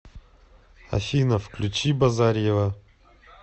афина включи базарьева